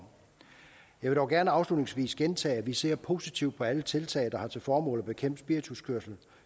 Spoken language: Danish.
jeg vil dog gerne afslutningsvis gentage at vi ser positivt på alle tiltag der har til formål at bekæmpe spirituskørsel